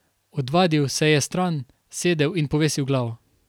Odvalil se je stran, sedel in povesil glavo.